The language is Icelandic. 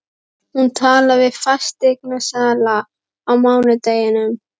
Hún talaði við fasteignasala á mánudeginum.